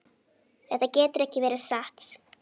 Þetta getur ekki verið satt.